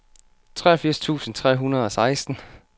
treogfirs tusind tre hundrede og seksten